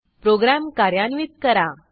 program कार्यान्वित करा